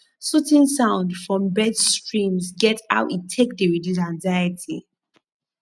soothing sound from birds streams get how e take dey reduce anxiety